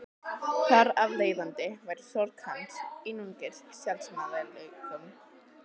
Þar af leiðandi væri sorg hans einungis sjálfsmeðaumkun.